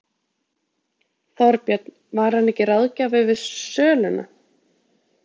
Þorbjörn: Var hann ekki ráðgjafi við söluna?